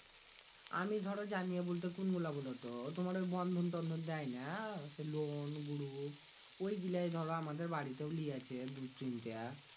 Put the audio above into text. আমি ধরো জানিয়ে বলতে কোন গীলা বলতো তোমার ওই Bandhon তন্ধন দেয় না ওই গিলাই ধরো আমাদের বাড়িতে লিয়াছে দু তিনটা